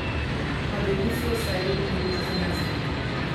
Na devico se je vedno mogoče zanesti.